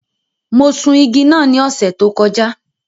Mo sun igi náà ní ọ̀sẹ̀ tó kọjá.